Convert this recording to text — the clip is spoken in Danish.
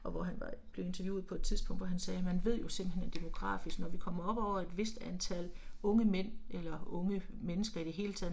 Og hvor han var blev interviewet på et tidspunkt hvor han sagde, man ved jo simpelthen at demografisk når vi kommer op over et vist antal unge mænd, eller unge mennesker i det hele taget